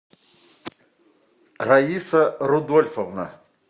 раиса рудольфовна